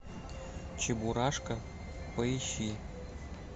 чебурашка поищи